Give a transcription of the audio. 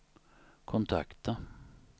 kontakta